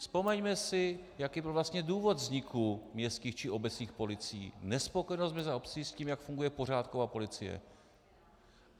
Vzpomeňme si, jaký byl vlastně důvod vzniku městských či obecních policií - nespokojenost měst a obcí s tím, jak funguje pořádková policie.